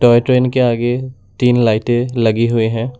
और ट्रेन के आगे तीन लाइटें लगी हुई हैं।